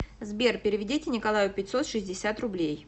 сбер переведите николаю пятьсот шестьдесят рублей